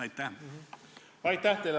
Aitäh teile!